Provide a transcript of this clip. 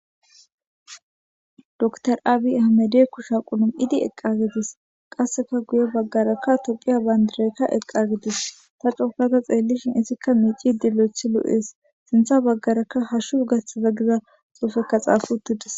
dr aabi hamede kusha qulum idi eqqa gidis qasseka guye baggaraka toqiya bandirekka eqqa gidis ta cookata xeellishin izikka miici dilo7ethi lu7ees sintha baggarakka hashu gasthaza giza xuufekka xaafutidis